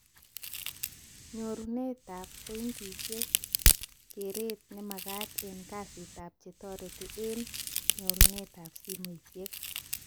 Nyorunetab pointishekab keret nemagat eng kasitab chetoreti eng nyurunetab simoishek